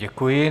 Děkuji.